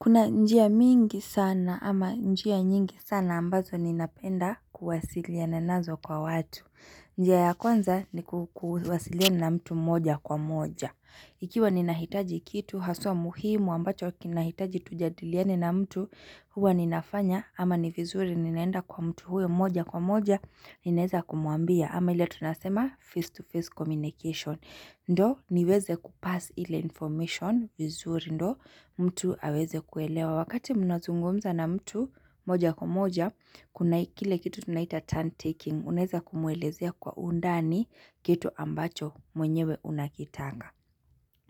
Kuna njia mingi sana ama njia nyingi sana ambazo ninapenda kuwasiliana nazo kwa watu. Njia ya kwanza ni kuwasiliana na mtu moja kwa moja. Ikiwa ninahitaji kitu haswa muhimu ambacho kinahitaji tujadiliane na mtu huwa ninafanya ama ni vizuri ninaenda kwa mtu huyo moja kwa moja. Ninaeza kumwambia ama ile tunasema face to face communication Ndio niweze kupass ile information vizuri ndio mtu aweze kuelewa Wakati mnazungumza na mtu moja kwa moja kuna kile kitu tunaita turn taking Unaeza kumwelezea kwa undani kitu ambacho mwenyewe unakitaka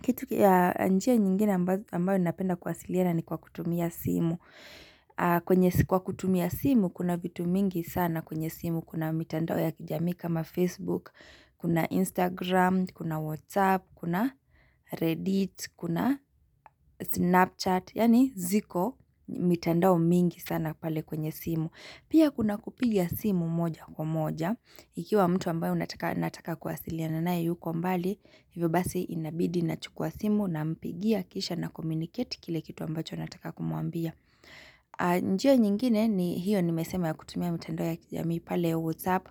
Kitu ya njia nyingine ambayo ninapenda kuwasiliana ni kwa kutumia simu Kwa kutumia simu kuna vitu mingi sana kwenye simu Kuna mitandao ya kijamii kama Facebook, kuna Instagram, kuna Whatsapp, kuna Reddit, kuna Snapchat, yaani ziko mitandao mingi sana pale kwenye simu. Pia kuna kupiga simu moja kwa moja, ikiwa mtu ambaye nataka kuwasiliana naye yuko mbali, hivyo basi inabidi nachukua simu nampigia kisha nacommunicate kile kitu ambacho nataka kumwambia. Njia nyingine ni hiyo nimesema ya kutumia mitandao ya kijamii pale whatsapp,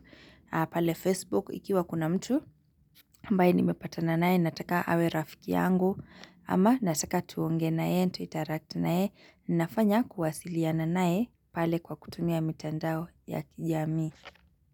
pale facebook ikiwa kuna mtu ambaye nimepatana naye nataka awe rafiki yangu ama nataka tuongee naye, tuinteract naye, nafanya kuwasiliana naye pale kwa kutumia mitandao ya kijamii.